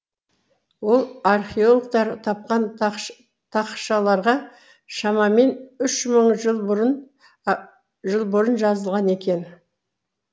ол археологтар тапқан тақшаларға шамамен үш мың жыл бұрын жазылған екен